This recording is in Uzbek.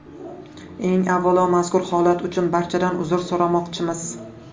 Eng avvalo mazkur holat uchun barchadan uzr so‘ramoqchimiz.